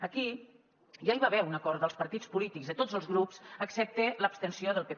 aquí ja hi va haver un acord dels partits polítics de tots els grups excepte l’abstenció del pp